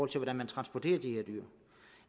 til hvordan man transporterer de her dyr